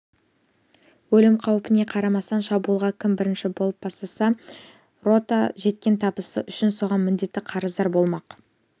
өлім қаупіне қарамастан шабуылға кім бірінші болып бастаса рота жеткен табысы үшін соған міндетті қарыздар болмақ